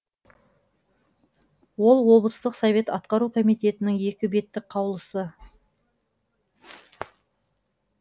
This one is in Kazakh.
ол облыстық совет атқару комитетінің екі беттік қаулысы